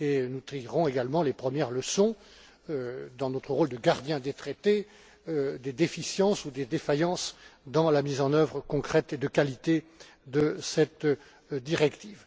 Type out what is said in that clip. Nous tirerons également les premières leçons, dans notre rôle de gardien des traités, des déficiences ou des défaillances dans la mise en œuvre concrète et de qualité de cette directive.